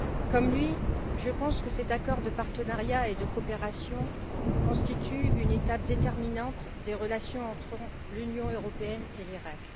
Comme lui, je pense que cet accord de partenariat et de coopération constitue une étape déterminante des relations entre l'Union européenne et l'Iraq.